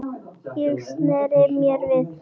Ég sneri mér við.